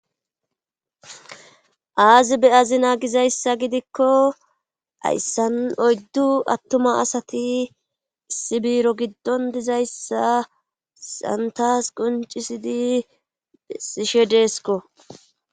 aazi beyazina gizayssa gidikko ayssan oyddu attuma asati issi biiro giddon dizayssa santas quncisidi sishe deesko